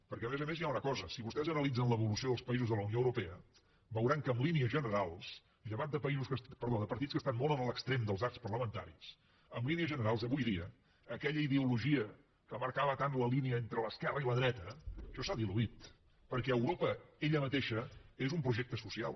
perquè a més a més hi ha una cosa si vostès analitzen l’evolució dels països de la unió europea veuran que en línies generals llevat de partits que estan molt a l’extrem dels arcs parlamentaris en línies generals avui dia aquella ideologia que marcava tant la línia entre l’esquerra i la dreta això s’ha diluït perquè europa ella mateixa és un projecte social